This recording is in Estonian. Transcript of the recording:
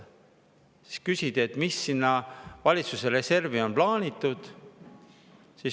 Siis küsid, et mis sinna valitsuse reservi on plaanitud.